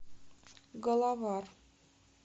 головар